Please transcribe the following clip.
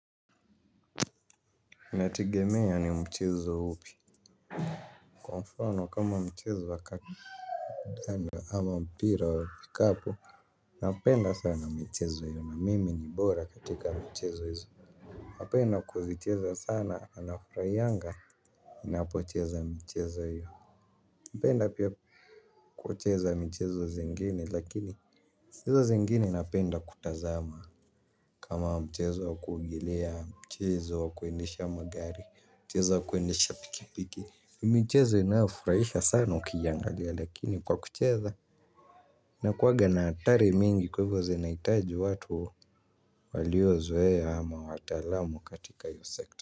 Nategemea ni mchezo upi. Kwa mfano kama mchezo wa kadanda ama mpira wa vikapu. Napenda sana mchezo hiyo na mimi ni bora katika mchezo hizo, napenda kuzicheza sana na furahianga. Ninapocheza mchezo hiyo napenda pia kukucheza mchezo zingini lakini, hizo zingine napenda kutazama. Kama mchezo wa kuogelea mchezo wa kuendesha magari mchezo wa kuendesha pikipiki ni micheze inayo furahisha sana ukiyangalia lakini kwa kucheza ina kuwaga na hatari mingi kwa hivyo zinahitaji watu. Waliozoea ama watalamu katika hiyo sekta.